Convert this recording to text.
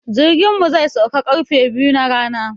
Jirkin mu zai sauka ƙarfe biyu na rana.